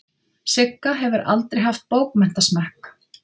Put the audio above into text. Sigga hefur aldrei haft bókmenntasmekk.